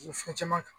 Ko fɛn caman kan